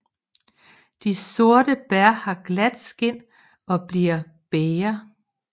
De sorte bær har glat skind og blivende bæger